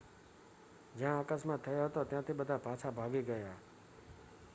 જ્યાં અકસ્માત થયો હતો ત્યાંથી બધાં પાછા ભાગી ગયાં